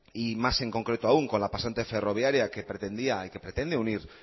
y más en concreto aún con la pasante ferroviaria que pretendía y que pretende unir